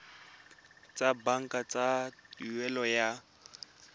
tsa banka tsa tuelo ya